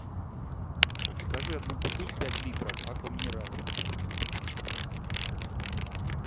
закажи одну бутыль пять литров аква минерале